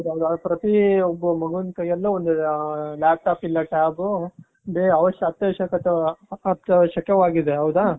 ಪ್ರತಿ ಒಬ್ಬ ಮಗುವಿನ ಕೈಯಲ್ಲು ಒಂದು laptop ಇಲ್ಲ tab ಅತ್ಯವಶ್ಯಕವಾಗಿದೆ ಹೌದಾ .